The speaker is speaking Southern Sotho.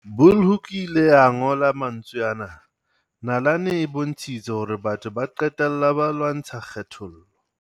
Bulhoeko ile a ngola mantswe ana- Nalane e bontshitse hore batho ba qe tella ba lwantsha kgethollo.